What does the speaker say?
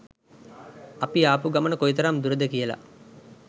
අපි ආපු ගමන කොයිතරම් දුරද කියල.